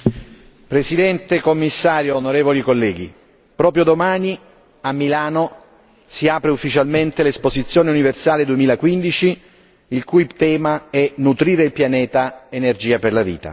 Signora Presidente, onorevoli colleghi, Commissario, proprio domani a Milano si apre ufficialmente l'Esposizione universale 2015 il cui tema è Nutrire il Pianeta, energia per la vita.